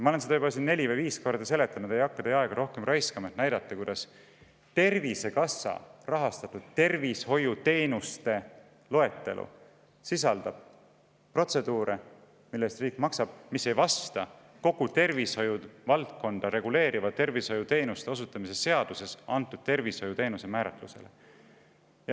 Ma olen seda juba neli või viis korda seletanud ja ei hakka teie aega rohkem raiskama, et näidata, kuidas Tervisekassa rahastatud tervishoiuteenuste loetelu sisaldab protseduure, mille eest riik maksab, aga mis ei vasta kogu tervishoiu valdkonda reguleerivas tervishoiuteenuste osutamise seaduses antud tervishoiuteenuse määratlusele.